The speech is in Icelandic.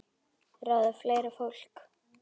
Ráða fleira fólk.